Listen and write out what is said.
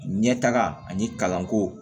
Ɲɛtaga ani kalanko